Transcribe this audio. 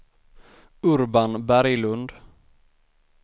Urban Berglund